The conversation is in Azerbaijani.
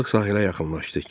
Balıq sahilə yaxınlaşdı.